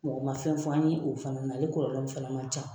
Mɔgɔ ma fɛn f'an ye o fana, nk'ale kɔlɔlɔ fana man ca.